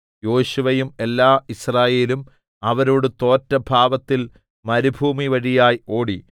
യോശുവയും എല്ലാ യിസ്രായേലും അവരോട് തോറ്റ ഭാവത്തിൽ മരുഭൂമിവഴിയായി ഓടി